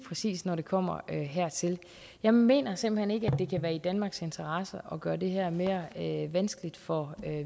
præcis når det kommer hertil jeg mener simpelt hen ikke at det kan være i danmarks interesse at gøre det her mere mere vanskeligt for